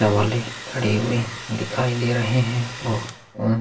तिरंगा वाले घडी भी दिखाई दे रहे है और अ --